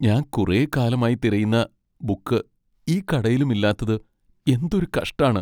ഞാൻ കുറെക്കാലമായി തിരയുന്ന ബുക്ക് ഈ കടയിലും ഇല്ലാത്തത് എന്തൊരു കഷ്ടാണ്.